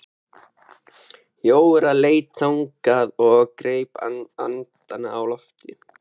Jóra leit þangað og greip andann á lofti.